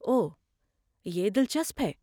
اوہ، یہ دلچسپ ہے۔